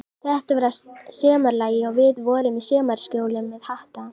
Þetta var að sumarlagi, og við vorum í sumarkjólum með hatta.